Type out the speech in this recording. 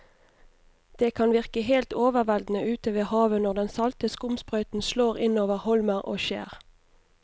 Det kan virke helt overveldende ute ved havet når den salte skumsprøyten slår innover holmer og skjær.